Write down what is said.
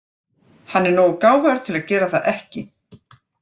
Hann er nógu gáfaður til að gera það ekki.